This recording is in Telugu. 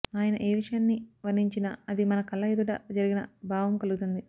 ఆయన ఏ విషయాన్ని వర్ణించినా అది మన కళ్ల ఎదుట జరిగిన భావం కలుగుతుంది